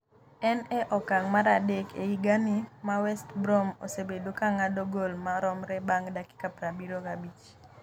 En e okang’ mar adek e higani ma West Brom osebedo ka ng’ado goal maromre bang’ dakika 75.